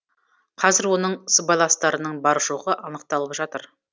қазір оның сыбайластарының бар жоғы анықталып жатыр